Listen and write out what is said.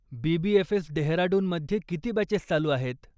BBFS. डेहराडूनमध्ये किती batches चालू आहेत?